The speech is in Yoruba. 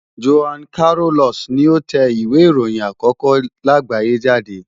Johann Carolus ni ó tẹ ìwé ìròyìn àkókó láàgbáyé jáde.